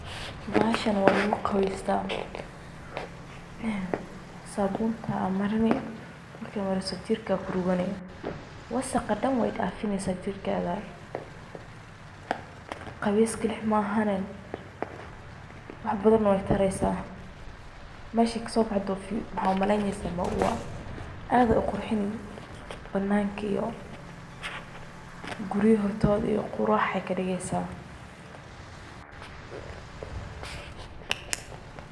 Bahashani waa lagu qawesta. Sabunta marini marka marisit jirka kuruqani wasaqa daan waydafineysa jirkadha. Qawees kalii maahane wax badhan na waytareysa mesha kasobaxdo mxaa umaleynesa maua aad aay uqurxini banaka iyo quriyaaha hortodha qurax ayy kadigaysa.